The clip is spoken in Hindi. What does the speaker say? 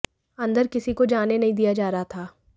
अंदर किसी को जाने नहीं दिया जा रहा था